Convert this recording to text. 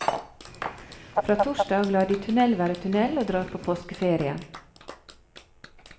Fra torsdag lar de tunnel være tunnel og drar på påskeferie.